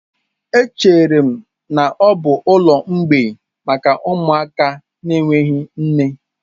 Echere m na ọ bụ ụlọ mgbei maka ụmụaka na-enweghị nne.